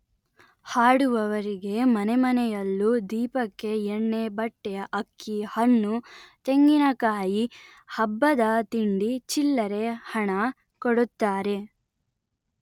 ಹಾಡುವವರಿಗೆ ಮನೆಮನೆಯಲ್ಲೂ ದೀಪಕ್ಕೆ ಎಣ್ಣೆ ಬಟ್ಟೆ ಅಕ್ಕಿ ಹಣ್ಣು ತೆಂಗಿನಕಾಯಿ ಹಬ್ಬದ ತಿಂಡಿ ಚಿಲ್ಲರೆ ಹಣ ಕೊಡುತ್ತರೆ